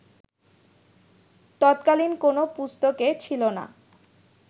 তৎকালীন কোন পুস্তকে ছিল না